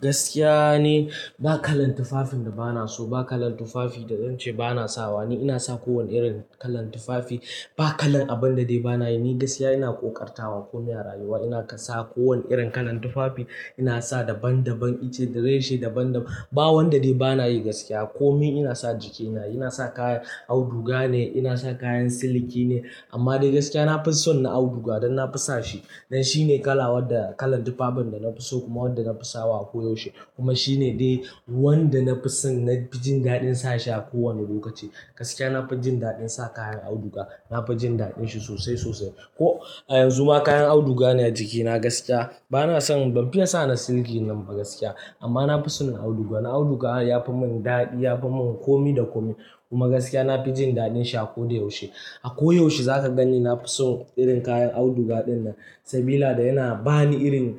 Gaskiya ne, ba kalan tufafin da ba na so ba, ba kalan tufafi da zan ce ba na sawa ni. Ina sa kowane irin kalan tufafi. Ba kalan abin da dai ba na yi. Ni gaskiya ina ƙoƙartawa komai a rayuwa. Ina sa kowane irin kalan tufafi. Ina sa daban-daban itace, da reshe daban-daban. Ba wanda dai ba na yi gaskiya. Komi ina sa jikina, ina sa kayan auduga ne, ina sa kayan siliki ne. Amma dai gaskiya na fi son na auduga don na fi sa shi. Dan shi ne kala wadda-- kalan tufafin da na fi so kuma wadda na fi sawa a ko yaushe. Kuma shi ne dai wanda na fi son na ji daɗin sashi a kowane lokaci. Gaskiya na fi jin daɗin sa kayan auduga. Na fi jin daɗin shi sosai, sosai. Ko a yanzu ma kayan auduga ne a jikina gaskiya. Ba na son, ban fiya sa na siliki nan ba gaskiya. Amma na fi son na auduga. Na auduga ya fi mun daɗi, ya fi mun komi da komi. Kuma gaskiya na fi jin daɗin shi a ko da yaushe. A ko yaushe za ka ganni na fi son irin kayan auduga ɗin nan. Sabila da yana ba ni irin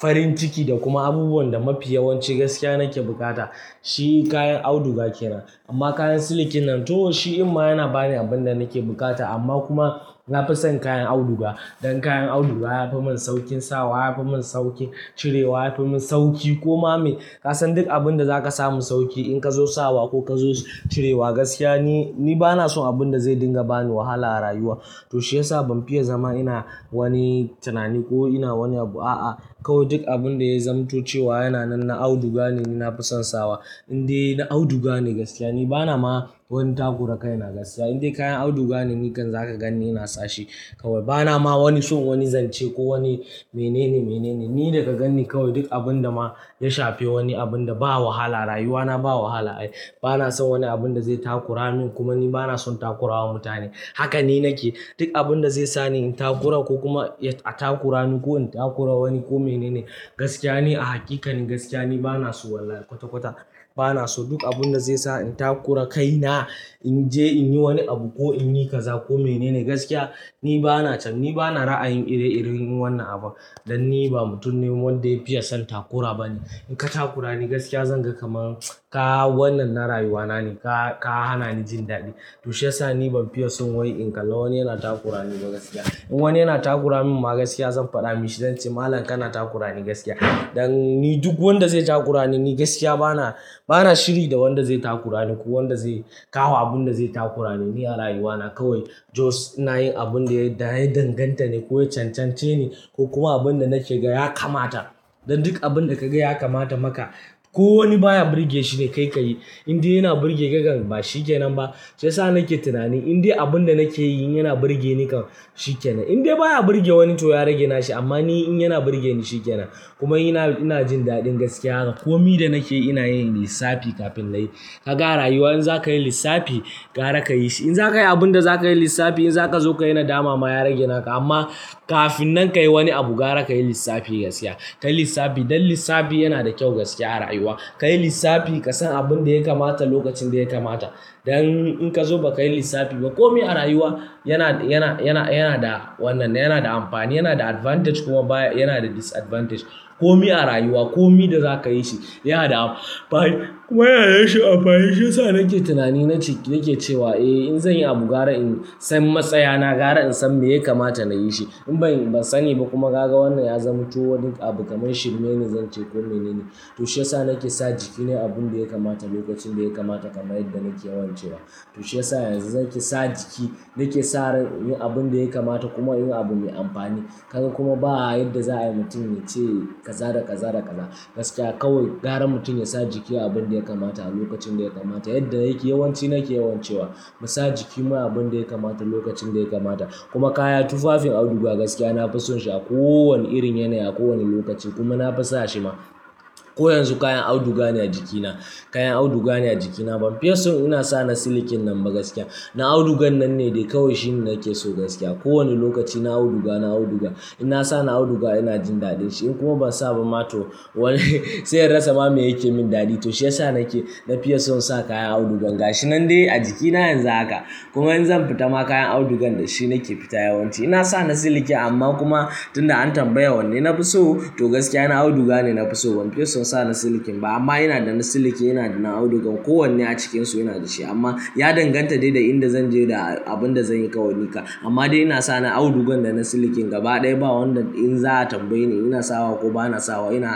farin ciki da kuma abubuwan da mafi yawanci gaskiya nake bukata. Shi kayan auduga ke nan. Amma kayan silikin nan to shi inma yana ba ni abin da nake bukata amma kuma na fi son kayan auduga. Don kayan auduga ya fi mun saukin sawa, ya fi mun saukin cirewa, ya fi mun sauki koma me. Ka san duk abin da za ka samu sauki in ka zo sawa ko ka zo cirewa gaskiya ni, ni ba na son abin da zai dinga ba ni wahala a rayuwa. To shiyasa ban fiya zama ina wani tunani ko ina wani abu, a'a. Kawai duk abin da ya zamtociwa yana nan, na auduga ne ni na fi son sawa. Indai na auduga ne gaskiya. Ni ba na ma wani takura kai na gaskiya. Inde kayan auduga ne nikan za ka ganni ina sashi. Kawai ba na ma wani son wani zance ko wani mene ne, mene ne. Ni da ka ganni kawai duk abin da ma ya shafe wani abun da ba wahala a rayuwana, ba wahala. Ai, ba na son wani abun da zai takura min kuma ni ba na son takurawa mutane. Haka ne nake. Duk abin da zai sa ni in takura ko kuma ya takura ni ko in takura wani ko mene ne gaskiya ne a hakikani gaskiya ni ba na so wallahi kwata-kwata. Ba na so duk abin da zai sa in takura kaina, in je in yi wani abu ko in yi kaza ko mene ne gaskiya ni ba na can. Ni ba na ra'ayin ire-iren wannan abun. Dan ni ba mutum ne wanda ya fiya son takura ba ne. In ka takura ni gaskiya zan ga kamar ka wannan na rayuwana ne ka, ka hana ni jin daɗi. To shiyasa ni ban fiya son wai in kalla wani yana takurani ba gaskiya. In wani yana takurani min ma gaskiya zan faɗa mishi zan ce malam kana takurani gaskiya. Dan ni duk wanda zai takura ni gaskiya ba na, ba na shiri da wanda zai takura ni ko wanda zai kawo abun da zai takura ni. Ni a rayuwana kawai just ina yin abun da ya danganta ne ko ya cancance ne ko kuma abun da nake ga ya kamata. Dan duk abun da ka ga ya kamata maka. Ko wani baya burge shi ne kai ka yi. Indai yana burge ka kan ba shi ke nan ba. Shiyasa nake tunani indai abun da nake yi yana burge ni kan shi ke nan. Indai baya burge wani to ya rage nashi amma ni in yana burge ni shi ke nan. Kuma ina, ina jin daɗin gaskiya. Komi da nake ina yin lissafi kafin layi. Ka ga rayuwa in za ka yi lissafi gara ka yi shi. In za ka yi abun da za ka yi lissafi, in za ka zo ka yana dama ma ya rage naka amma kafin nan ka yi wani abu gara ka yi lissafi gaskiya. Ka yi lissafi don lissafi yana da kyau gaskiya a rayuwa. Ka yi lissafi ka san abun da ya kamata lokacin da ya kamata. Dan in ka zo ba ka yi lissafi ba komi a rayuwa yana, yana, yana, yana da wannan, yana da amfani, yana da advantage kuma baya-- yana da disadvantage. Komi a rayuwa, komi da za ka yi shi yana da amfani kuma yana da shi alfahin. Shiyasa nake tunani nake cewa eh in zan yi abu gara in san matsaya na gara in san me ya kamata na yi shi. In ban, ban sani ba kuma ka ga wannan ya zamu to wani abu kamar shirme ni zan ce ko mene ne. To shiyasa nake sa jikina abun da ya kamata lokacin da ya kamata kamar yadda nake yawan cewa. To shiyasa yanzu nake sa jiki, nake sa ran inyi abun da ya kamata kuma inyi abu mai amfani. Kuma ba yadda za a yi mutum ya ce kaza da kaza da kala. Gaskiya kawai gara mutum ya sa jiki abun da ya kamata a lokacin da ya kamata. Yadda yake yawanci nake yawan cewa mu sa jikimu abun da ya kamata lokacin da ya kamata. Kuma kaya, tufafin auduga gaskiya na fi son shi a ko wane irin yanayi, a ko wane lokaci kuma na fi sa shi ma. Ko yanzu kayan auduga ne a jikina. Kayan auduga ne a jikina. Ban fiya son ina sa na silikin nan ba gaskiya. Na audugan nan ne dai kawai shi nake so gaskiya. Ko wane lokaci na auduga, na auduga. In na sa na auduga ina jin daɗin shi in kuma ban sa ba ma to wai sai in rasa ma mai yake min daɗi. To shiyasa nake na fiya son sa kayan auduga. Gashi nan dai a jikina yanzu haka kuma in zan fita ma kayan audugan da shi nake fita yawanci. Ina sa na siliki amma kuma tun da an tambaya wanne na fi so to gaskiya na auduga ne na fi so. Ban fiya son sa na silikin ba amma ina da na siliki, ina da na auduga. Ko wanne a cikinsu ina da shi amma ya danganta dai da inda zan je da abun da zan yi kawai ni ka. Amma dai ina sa na audugan da na silikin gaba ɗaya ba wanda in za a tambaye ni ina sawa ko ba na sawa ina.